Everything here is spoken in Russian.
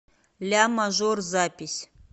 ля мажор запись